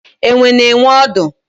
Enwe na enwe odu